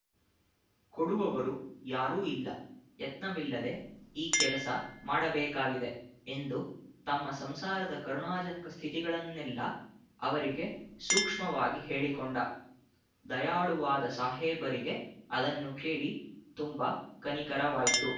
ಕೊಡುವವರೂ ಯಾರೂ ಇಲ್ಲ ಯತ್ನವಿಲ್ಲದೆ ಈ ಕೆಲಸ ಮಾಡಬೇಕಾಗಿದೆ ಎಂದು ತಮ್ಮ ಸಂಸಾರದ ಕರುಣಾಜನಕ ಸ್ಥಿತಿಗಳನ್ನೆಲ್ಲ ಅವರಿಗೆ ಸೂಕ್ಷ್ಮವಾಗಿ ಹೇಳಿಕೊಂಡ ದಯಾಳುವಾದ ಸಾಹೇಬರಿಗೆ ಅದನ್ನು ಕೇಳಿ ತುಂಬ ಕನಿಕರವಾಯ್ತು